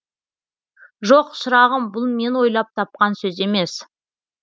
жоқ шырағым бұл мен ойлап тапқан сөз емес